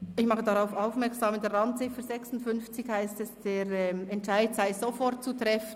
Ich mache darauf aufmerksam, dass es in Randziffer 56 heisst, der Entscheid sei sofort zu treffen.